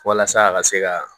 Walasa a ka se ka